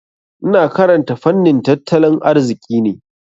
Ina karanta fannin tattalin arziki ne.